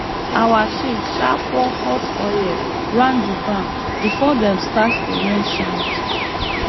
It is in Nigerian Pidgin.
our chief um pour hot oil round the barn before dem start the rain chant